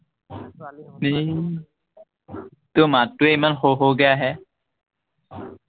এৰ তোৰ মাতটোৱেই ইমান সৰু সৰুকে আহে।